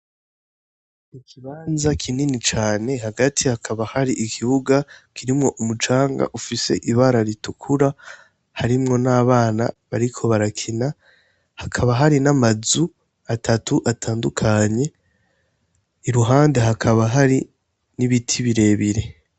I kibanza kinini cane hagati hakaba hari ikibuga kirimwo umucanga ufise ibara ritukura harimwo n'abana bariko barakina hakaba hari n'amazu atatu atandukanye i ruhande hakaba hari n'ibiti birebire.